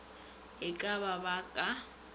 e ka ba ba ka